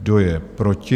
Kdo je proti?